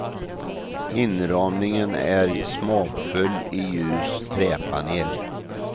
Inramningen är smakfull i ljus träpanel.